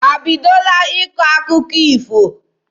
Ha ebidola ịkọ akụkọ ifo?